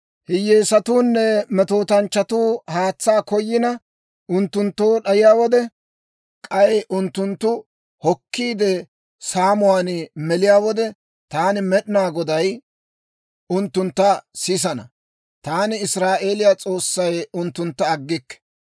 «Hiyyeesatuunne metootanchchatuu haatsaa koyina unttunttoo d'ayiyaa wode, k'ay unttunttu kookkiikka saamuwaan meliyaa wode, taani Med'inaa Goday unttuntta sisana; taani, Israa'eeliyaa S'oossay unttuntta aggikke.